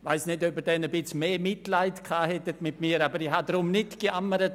Ich weiss nicht, ob Sie dann etwas mehr Mitleid mit mir gehabt hätten, aber ich habe nicht gejammert.